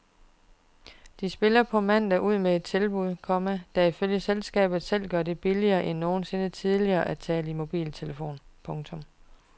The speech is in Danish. De spiller på mandag ud med et tilbud, komma der ifølge selskabet selv gør det billigere end nogensinde tidligere at tale i mobiltelefon. punktum